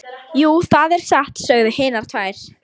Jú, það er satt, sögðu hinar tvær.